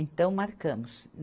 Então, marcamos.